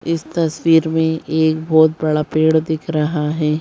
इस तस्वीर में एक बहुत बड़ा पेड़ दिख रहा है ।